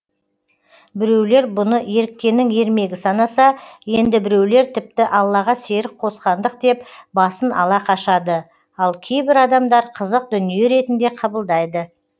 біреулер бұны еріккеннің ермегі санаса енді біреулер тіпті аллаға серік қосқандық деп басын ала қашады ал кейбір адамдар қызық дүние ретінде қабылдайды